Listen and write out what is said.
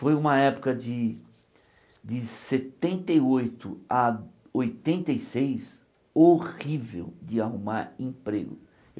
Foi uma época de de setenta e oito a oitenta e seis horrível de arrumar emprego.